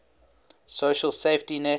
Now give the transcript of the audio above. social safety net